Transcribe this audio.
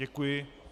Děkuji.